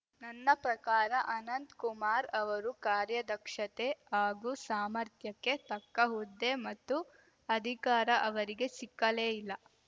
ನನ್ನ ಪ್ರಕಾರ ಅನಂತ್ ಕುಮಾರ್‌ ಅವರ ಕಾರ್ಯದಕ್ಷತೆ ಹಾಗೂ ಸಾಮರ್ಥ್ಯಕ್ಕೆ ತಕ್ಕ ಹುದ್ದೆ ಮತ್ತು ಅಧಿಕಾರ ಅವರಿಗೆ ಸಿಕ್ಕಲೇ ಇಲ್ಲ